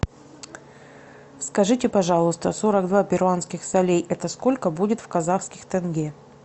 скажите пожалуйста сорок два перуанских солей это сколько будет в казахских тенге